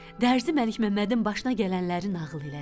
Dərzi Məlikməmmədin başına gələnləri nağıl elədi.